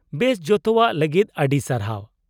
-ᱵᱮᱥ, ᱚᱡᱛᱚᱣᱟᱜ ᱞᱟᱹᱜᱤᱫ ᱟᱹᱰᱤ ᱥᱟᱨᱦᱟᱨ ᱾